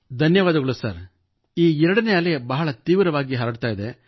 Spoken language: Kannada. ಧನ್ಯವಾದಗಳು ಸರ್ ಈ 2 ನೇ ಅಲೆ ಬಹಳ ತೀವ್ರವಾಗಿ ಹರಡುತ್ತಿದೆ